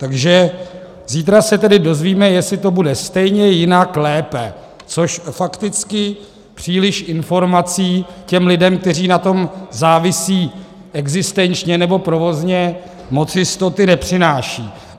Takže zítra se tedy dozvíme, jestli to bude stejně, jinak, lépe, což fakticky příliš informací těm lidem, kteří na tom závisí existenčně nebo provozně, moc jistoty nepřináší.